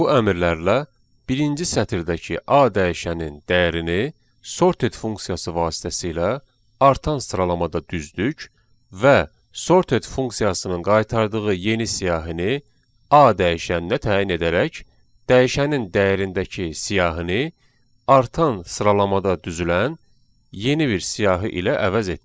Bu əmrlərlə birinci sətirdəki A dəyişənin dəyərini sorted funksiyası vasitəsilə artan sıralamada düzdük və sorted funksiyasının qaytardığı yeni siyahını A dəyişəninə təyin edərək dəyişənin dəyərindəki siyahını artan sıralamada düzülən yeni bir siyahı ilə əvəz etdik.